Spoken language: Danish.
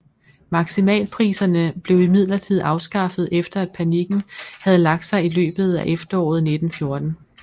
Maksimalpriserne blev imidlertid afskaffet efter at panikken havde lagt sig i løbet af efteråret 1914